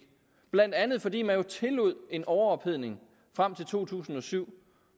blandt andet fordi man jo tillod en overophedning frem til to tusind og syv